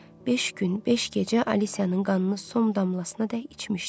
Beş gün, beş gecə Aliciyanın qanını son damlasınadək içmişdi.